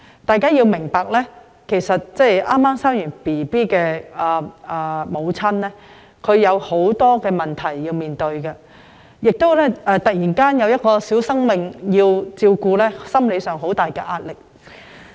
大家要明白，剛生育的母親會面對很多問題，而突然要照顧一個小生命，在心理上亦會承受很大壓力。